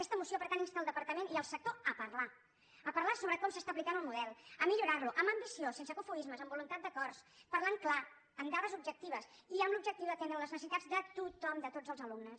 aquesta moció per tant insta el departament i el sector a parlar a parlar sobre com s’aplica el model a millorarlo amb ambició sense cofoismes amb voluntat d’acords parlant clar amb dades objectives i amb l’objectiu d’atendre les necessitats de tothom de tots els alumnes